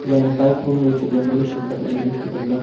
naan pipe hom wai chu ngan ang chu kapngole photo ma.